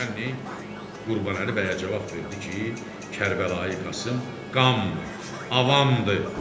Naçennik Qurbanəli bəyə cavab verdi ki, Kərbəlayı Qasım qanmır, avamdır.